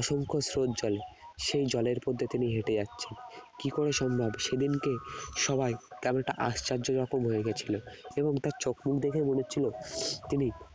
অসংখ্য স্রোত জলে সেই জলের উপর তিনি হেটে যাচ্ছেনা কি করে সম্ভব সেদিন কে সবাই কমটা আশ্চর্য রকম হয়ে গেছিল এবং তারচোখ মুখ দেখে মনে হচ্ছিল তিনি